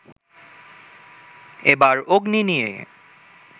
এবার 'অগ্নি' নিয়ে